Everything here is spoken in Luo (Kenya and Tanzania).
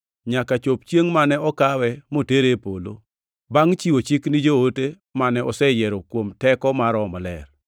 nyaka chop chiengʼ mane okawe motere e polo, bangʼ chiwo chik ni joote mane oseyiero kuom teko mar Roho Maler.